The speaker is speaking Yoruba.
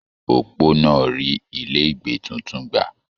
Opó náà rí ilé ìgbé títún gbà.